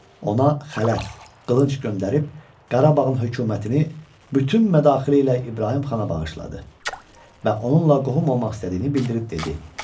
Ona xələt, qılınc göndərib Qarabağın hökumətini bütün mədaxili ilə İbrahim xana bağışladı və onunla qohum olmaq istədiyini bildirib dedi: